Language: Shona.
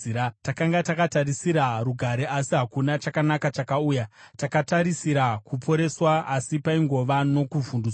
Takanga takatarisira rugare asi hakuna chakanaka chakauya; takatarisira kuporeswa asi paingova nokuvhundutswa.